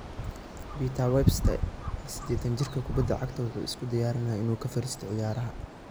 Peter Webster: 80-jirka kubbadda cagta wuxuu isku diyaarinayaa inuu ka fariisto ciyaaraha